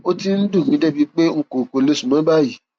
ó ti ń dùn mí débi pé n kò kò lè sùn mọ báyìí